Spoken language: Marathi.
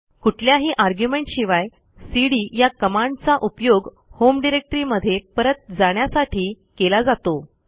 कुठल्याही आर्ग्युमेंट शिवाय सीडी या कमांडचा उपयोग होम डिरेक्टरीमध्ये परत जाण्यासाठी केला जातो